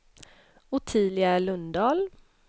Ottilia Lundahl